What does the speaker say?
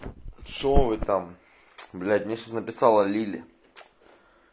шо вы там бля мне сейчас написала лили